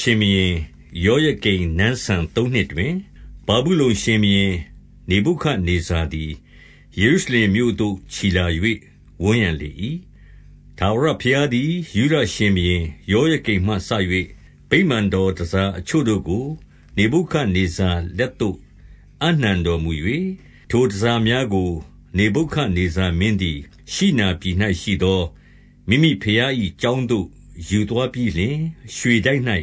ရှင်ဘုရင်ယောယကိမ်နန်းစံသုံးနှစ်တွင်၊ ဗာဗုလုန်ရှင်ဘုရင်နေဗုခဒ်နေဇာသည် ယေရုရှလင်မြို့သို့ ချီလာ၍ ဝန်းရံလေ၏။ 2 ထာဝရဘုရားသည် ယုဒရှင်ဘုရင် ယောယကိမ် မှစ၍ ဗိမာန်တော်တန်ဆာအချို့တို့ကို နေဗုခဒ်နေဇာ လက်သို့ အပ်နှံတော်မူ၍၊ ထိုတန်ဆာများကို နေဗုခဒ် နေဇာမင်းသည် ရှိနာပြည်၌ရှိသော မိမိဘုရား၏ကျောင်း သို့ ယူသွားပြီးလျှင်၊ ရွှေတိုက်၌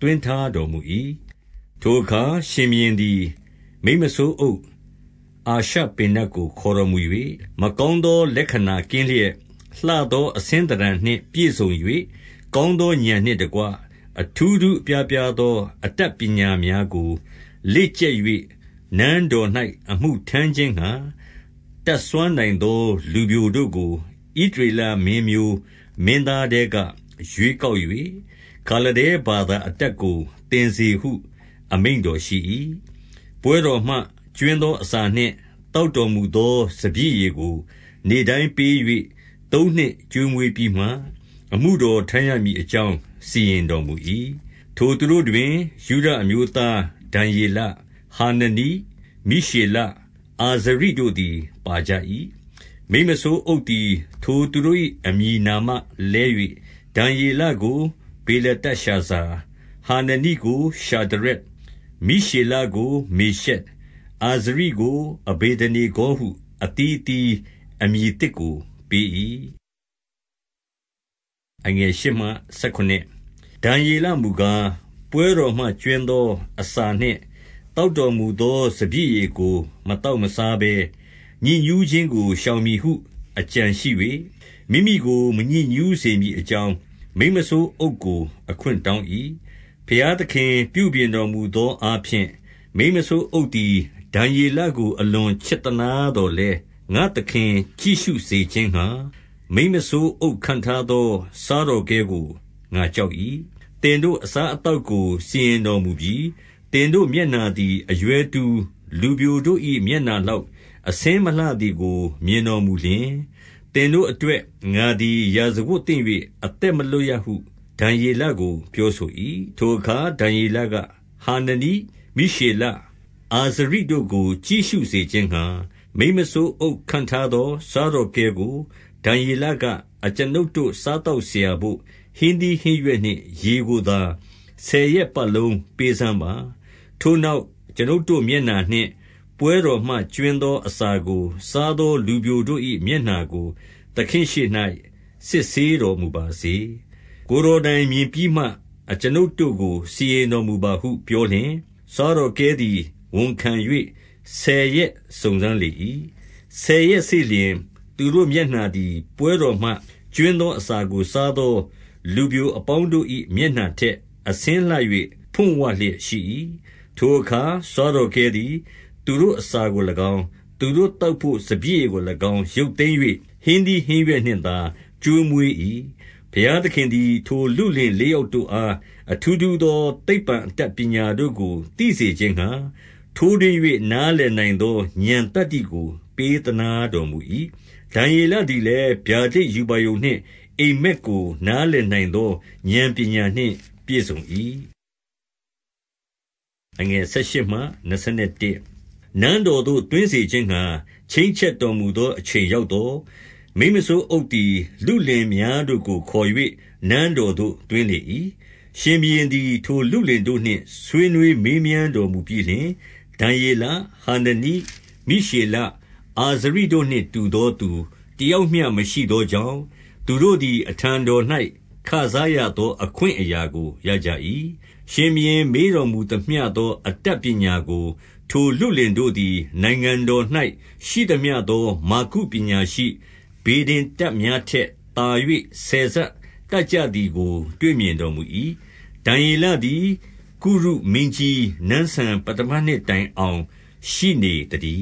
သွင်းထားတော်မူ၏။ 3 ထိုအခါရှင်ဘုရင်သည် မိန်းမစိုးအုပ် အာရှ ပေနတ်ကို ခေါ်တော်မူ၍၊ 4 မကောင်းသော လက္ခဏာကင်းလျက်၊ လှသောအဆင်းသဏ္ဌာန်နှင့်ပြည့်စုံ၍၊ ကောင်းသောဥာဏ်နှင့် တကွ အထူးထူးအပြားပြားသော အတတ်ပညာများကို လေ့ကျက်၍၊ နန်းတော်၌ အမှုထမ်းခြင်းငှါ တတ်စွမ်း နိုင်သောလူပျိုတို့ကို ဣသရေလမင်းမျိုးမင်းသားထဲက ရွေးကောက်၍၊ ခါလဒဲဘာသာအတတ်ကို သင်စေဟု အမိန့်တော်ရှိ၏။ 5 ပွဲတော်မှ ကြွင်းသောအစာနှင့် သောက်တော်မူ သော စပျစ်ရည်ကို နေ့တိုင်းပေး၍ သုံးနှစ်ကျွေးမွေးပြီးမှ၊ အမှုတော်ထမ်းရမည်အကြောင်း စီရင်တော်မူ၏။ 6 ထိုသူတို့တွင် ယုဒအမျိုးသားဒံယေလ၊ ဟာနနိ၊ မိရှေလ၊ အာဇရိတို့သည် ပါကြ၏။ 7 မိန်းမစိုးအုပ်သည် ထိုသူတို့ကို အမည်နာမလဲ၍၊ ဒံယေလကို ဗေလတရှာဇာ၊ ဟာနနိကိုရှာဒရက်၊ မိရှေလ ကိုမေရှက်၊ အာဇရိကို အဗေဒနေဂေါဟု၊ အသီးအသီး အမည်အသစ်ကို ပေး၏။ 8 ဒံယေလမူကား၊ ပွဲတော်မှကြွင်းသောအစာနှင့် သောက်တော်မူသော စပျစ်ရည်ကို မသောက်မစားဘဲ၊ ညစ်ညူးခြင်းကို ရှောင်မည်ဟု အကြံရှိ၍၊ မိမိကို မညစ်ညူး စေမည်အကြောင်း၊ မိန်းမစိုးအုပ်ကို အခွင့်တောင်း၏။ 9 ဘုရားသခင်ပြုပြင်တော်မူသောအားဖြင့်၊ မိန်းမ စိုးအုပ်သည် ဒံယေလကို အလွန်ချစ်သနားသော်လည်း၊ 10 ငါ့သခင်ကြည့်ရှုစေခြင်းငှါ မိန်းမစိုးအုပ်ခန့်ထား သော စားတော်ကဲကို ငါကြောက်၏။ သင်တို့အစား အသောက်ကို စီရင်တော်မူပြီ။ သင်တို့ မျက်နှာသည် အရွယ်တူ လူပျိုတို့၏ မျက်နှာလောက် အဆင်းမလှ သည်ကို မြင်တော်မူလျှင်၊ သင်တို့အတွက် ငါသည် ရာဇဝတ်သင့်၍ အသက်မလွတ်ရဟု ဒံယေလကို ပြောဆို၏။ 11 ထိုအခါ ဒံယေလ၊ ဟာနနိ၊ မိရှေလ၊ အာဇရိ တို့ကို ကြည့်ရှုစေခြင်းငှါ မိန်းမစိုးအုပ်ခန့်ထားသော စားတော်ကဲကို ဒံယေလက၊ 12 အကျွန်ုပ်တို့ စားသောက်စရာဘို့ ဟင်းသီး ဟင်းရွက်နှင့် ရေကိုသာ ဆယ်ရက်ပတ်လုံးပေးစမ်းပါ။ 13 ထိုနောက်၊ အကျွန်ုပ်တို့မျက်နှာနှင့်၊ ပွဲတော်မှ ကြွင်းသော အစာကို စားသောလူပျိုတို့၏မျက်နှာကို သခင်ရှေ့၌ စစ်တော်မူပါစေ။ ကိုယ်တော်တိုင်မြင်ပြီးမှ၊ အကျွန်ုပ်တို့ကို စီရင်တော်မူပါဟုပြောလျှင်၊ 14 စားတော်ကဲသည် ဝန်ခံ၍ ဆယ်ရက်စုံစမ်း လေ၏။ 15 ဆယ်ရက်စေ့လျှင် သူတို့မျက်နှာသည်၊ ပွဲတော်မှ ကြွင်းသောအစာကို စားသော လူပျိုအပေါင်းတို့၏ မျက်နှာထက် အဆင်းလှ၍ ဖွံ့ဝလျက်ရှိ၏။ 16 ထိုအခါစားတော်ကဲသည် သူတို့အစာကို၎င်း၊ သူတို့သောက်ဘို့ စပျစ်ရည်ကို၎င်း ရုပ်သိမ်း၍၊ ဟင်းသီး ဟင်းရွက်နှင့်သာ ကျွေးမွေး၏။ 17 ဘုရားသခင်သည် ထိုလုလင်လေးယောက်တို့ အား အထူးထူးသော သိပ္ပံအတတ်ပညာတို့ကို သိစေခြင်း ငှါ၊ ထိုးထွင်း၍ နားလည်နိုင်သော ဥာဏ်သတ္တိကို ပေး သနားတော်မူ၏။ ဒံယေလသည်လည်း ဗျာဒိတ်ရူပါရုံနှင့် အိပ်မက်ကိုနားလည်နိုင်သော ဥာဏ်ပညာနှင့်ပြည့်စုံ၏။ 18 နန်းတော်သို့ သွင်းစေခြင်းငှါ ချိန်းချက်တော်မူ သော အချိန်ရောက်သော်၊ မိန်းမစိုးအုပ်သည် လုလင်များ တို့ကို ခေါ်၍ နန်းတော်သို့ သွင်းလေ၏။ 19 ရှင်ဘုရင်သည် ထိုလုလင်တို့နှင့် ဆွေးနွေး မေးမြန်းတော်မူပြီးလျှင်၊ ဒံယေလ၊ ဟာနနိ၊ မိရှေလ၊ အာဇရိတို့နှင့် တူသောသူတယောက်မျှမရှိသောကြောင့်၊ သူတို့သည် အထံတော်၌ ခံစားရသော အခွင့်အရာကို ရကြ၏။ 20 ရှင်ဘုရင်မေးတော်မူသမျှသော အတတ်ပညာကို ထိုလုလင်တို့သည် နိုင်ငံတော်၌ရှိသမျှသော မာဂု ပညာရှိ၊ ဗေဒင်တတ်များထက်သာ၍ ဆယ်ဆတတ်ကြ သည်ကို တွေ့မြင်တော်မူ၏။ 21 ဒံယေလသည် ကုရုမင်းကြီးနန်းစံပဌမနှစ်တိုင်အောင် ရှိနေသတည